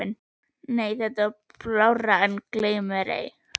Nei það er blárra en gleymmérei.